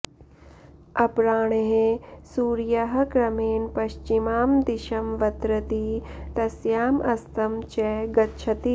अपराह्णे सूर्यः क्रमेण पश्चिमां दिशमवतरति तस्याम् अस्तं च गच्छति